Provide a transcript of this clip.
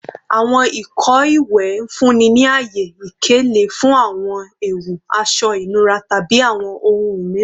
Awọn ìkọ iwẹ n funni ni aye ikele fun awọn ẹwu, aṣọ inura, tabi awọn ohun miiran